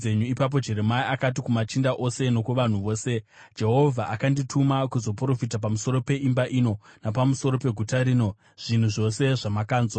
Ipapo Jeremia akati kumachinda ose nokuvanhu vose, “Jehovha akandituma kuzoprofita pamusoro peimba ino napamusoro peguta rino, zvinhu zvose zvamakanzwa.